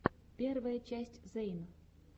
первая часть зэйн